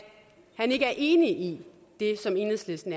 han ikke er enig i det som enhedslisten